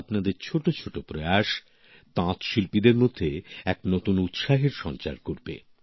আপনাদের ছোটছোট প্রয়াস তাঁতশিল্পীদের মধ্যে এক নতুন উৎসাহের সঞ্চার করবে